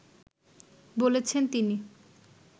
বলেছেন তিনি